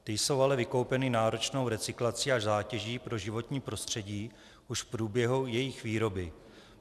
Ty jsou ale vykoupeny náročnou recyklací až zátěží pro životní prostředí už v průběhu jejich výroby.